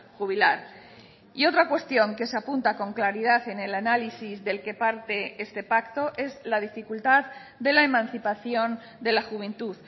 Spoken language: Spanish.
jubilar y otra cuestión que se apunta con claridad en el análisis del que parte este pacto es la dificultad de la emancipación de la juventud